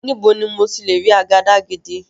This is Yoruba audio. Níbo ni mo ti lè rí àgàdàgídí?